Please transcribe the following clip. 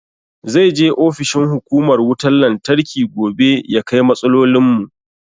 Zai je ofishin hukumar wutan lantarki gobe ya kai matsalolin mu